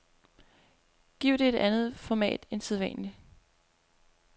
Giv det et andet format end sædvanligt.